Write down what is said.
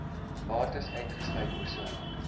bates uitgesluit persoonlike